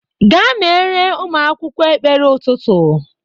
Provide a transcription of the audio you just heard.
Gaa mere ụmụ akwụkwọ ekpere ụtụtụ.